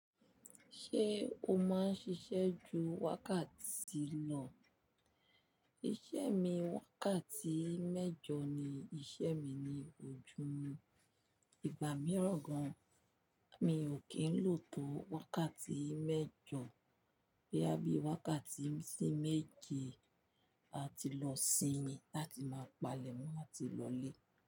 Ṣé o máa ń ṣiṣẹ́ ju wákàtí lọ? Iṣẹ́ mi wákàtí mẹ́jọ ni, iṣẹ́ mi ni ojú, ìgbà mìíràn gan, mi ò kí ń lò tó wákàtí mẹ́jọ. Boya bí wákàtí sí méje, a ti lọ sinmi láti máa palẹ̀, mọ ati lọ lé.